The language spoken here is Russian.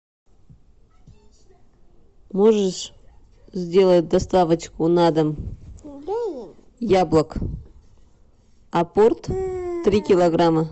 можешь сделать доставочку на дом яблок апорт три килограмма